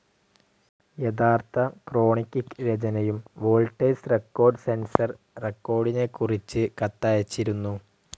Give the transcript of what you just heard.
യഥാർത്ഥ ക്രോണിക്കിക് രചനയും വോൾട്ടേഴ്സ് റെക്കോർഡ്‌ സെൻസർ റെക്കോർഡിനെക്കുറിച്ച് കത്തയച്ചിരുന്നു.